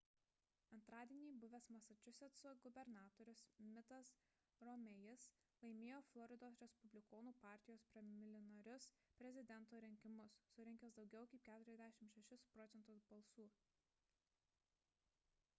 antradienį buvęs masačusetso gubernatorius mittas romney'is laimėjo floridos respublikonų partijos preliminarinius prezidento rinkimus surinkęs daugiau kaip 46 proc. balsų